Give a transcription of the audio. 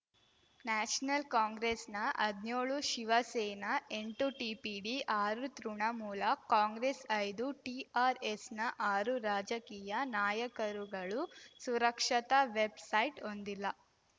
national ಕಾಂಗ್ರೆಸ್‌ನ ಹದ್ನ್ಯೋಳು ಶಿವಸೇನಾ ಎಂಟು ಟಿಪಿಡಿ ಆರು ತೃಣಮೂಲ ಕಾಂಗ್ರೆಸ್ ಐದು ಟಿಆರ್‌ಎಸ್‌ನ ಆರು ರಾಜಕೀಯ ನಾಯಕರುಗಳು ಸುರಕ್ಷತಾ ವೆಬ್‌ಸೈಟ್ ಹೊಂದಿಲ್ಲ